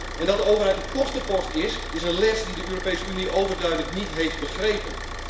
En dat de overheid een kostenpost is, is een les die de Europese Unie overduidelijk niet heeft begrepen.